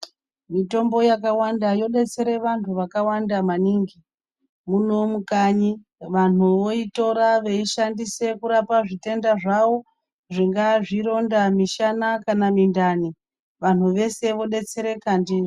Mitombo yakawanda yodetsera vanthu vakawanda maningi muno mukanyi vanthu voitora veishandisa kurapa zvitenda zvawo zvingaa zvironda, mishana kana mindani, vanhu vese vodetsereka ndiyo.